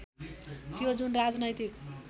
थियो जुन राजनैतिक